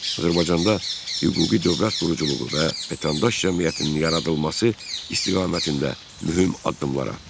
Azərbaycanda hüquqi dövlət quruculuğu və vətəndaş cəmiyyətinin yaradılması istiqamətində mühüm addımlar atdı.